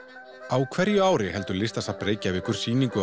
á hverju ári heldur Listasafn Reykjavíkur sýningu á